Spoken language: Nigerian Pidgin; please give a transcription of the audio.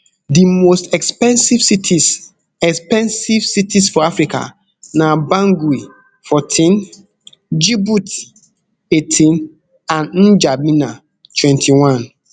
di most expensive cities expensive cities for africa na bangui fourteen djibouti eighteen and ndjamena twenty-one